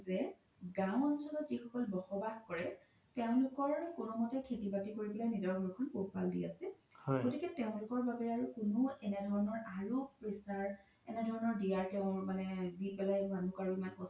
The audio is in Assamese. যে গাও অঞ্চলত যি সকল বস বাস কৰে তেওলোকৰ খেতি বাতি কৰি কিনে নিজৰ ঘৰখন পোহ পাল দি আছে গতিকে তেওলোকৰ বাবে কোনো এনেধৰনৰ আৰু pressure এনেধৰনৰ দিয়াৰ তেওৰ মানে দি পেলাই মানুহক আৰু ইমান কস্ত